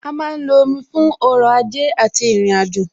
A má ń lo omi fún ọrọ̀ ajé àti ìrìnàjò,